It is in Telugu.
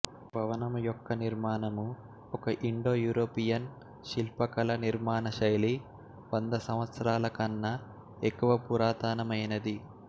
భవనం యొక్క నిర్మాణము ఒక ఇండోయురోపియన్ శిల్పకళ నిర్మాణ శైలి వంద సంవత్సరాల కన్నా ఎక్కువ పురాతనమైనది